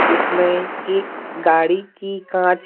जिसमें एक गाड़ी की कांच --